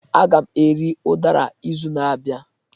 Aga m eri udara izu na-abịa